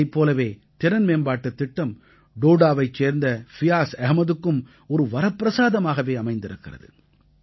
இதைப் போலவே திறன்மேம்பாட்டுத் திட்டம் டோடாவைச் சேர்ந்த ஃபியாஸ் அஹ்மதுக்கு ஒரு வரப்பிரசாதமாகவே அமைந்திருக்கிறது